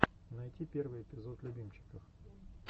найти первый выпуск любимчиков